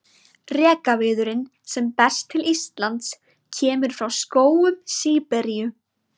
Rekaviðurinn sem berst til Íslands kemur frá skógum Síberíu.